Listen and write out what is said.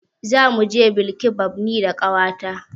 Zamu je bilkibab ni da ƙawata.